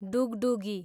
डुगडुगी